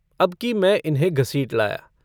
अबकी मैं इन्हें घसीट लाया।